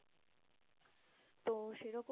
তো সেরকম